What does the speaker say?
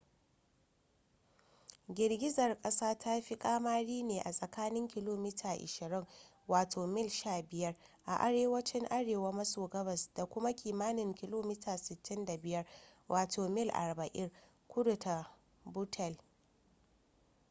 girgizar kasar ta fi kamari ne a tsakanin kilomita 20 wato mil 15 a arewacin arewa maso gabas da kuma kimanin kilomita 65 wato mil 40 kudu da buttle